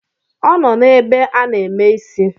Ọ nọ n’ebe a na-eme isi